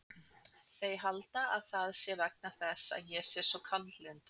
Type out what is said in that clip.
Þær halda að það sé vegna þess að ég sé svo kaldlyndur.